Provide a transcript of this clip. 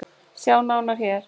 Sjá nána hér